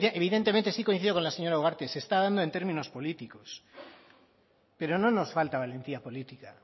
evidentemente sí coincido con la señora ugarte se está dando en términos políticos pero no nos falta valentía política